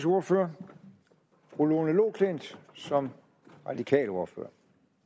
ordfører fru lone loklindt som radikal ordfører